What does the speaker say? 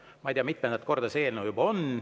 Ja ma ei tea, mitmendat korda selline eelnõu siin juba on.